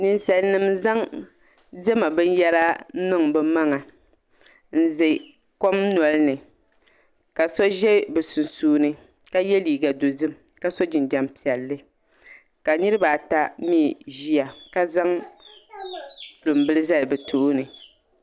Ninsalinima n zaŋ diɛma binyahiri n niŋ bɛ maŋa n ze kom noli ni ka so ʒe bɛ sunsuuni ka ye liiga dozim ka so jinjam piɛlli ka niribaata mi ʒeya ka zaŋ lunbili zali bɛ tooni.